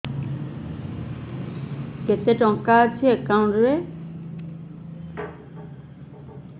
କେତେ ଟଙ୍କା ଅଛି ଏକାଉଣ୍ଟ୍ ରେ